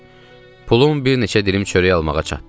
Pulun bir neçə dilim çörək almağa çatdı.